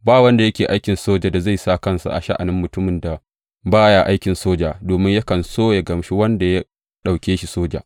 Ba wanda yake aikin soja da zai sa kansa a sha’anin mutumin da ba ya aikin soja, domin yakan so yă gamshi wanda ya ɗauke shi soja.